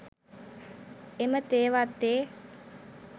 එම තේ වත්තේ